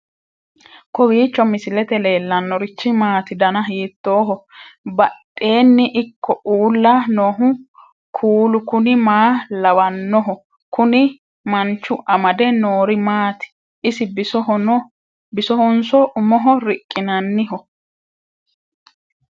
kowiicho misilete leellanorichi maati ? dana hiittooho ?abadhhenni ikko uulla noohu kuulu kuni maa lawannoho? kuni manchu amade noori maati ise bisohonso umoho riqqinanniho